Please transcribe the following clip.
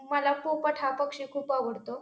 मला पोपट हा पक्षी खूप आवडतो.